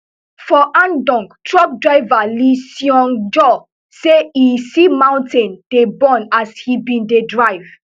for andong truck driver lee seungjoo say e see mountains dey burn as e bin dey drive